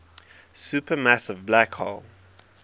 supermassive black hole